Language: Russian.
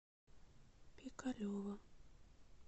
пикалево